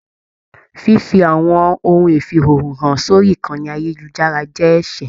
Fífi àwọn ohun ifiihoho hàn sórí ìkànnì ayelujara jẹ ẹsẹ.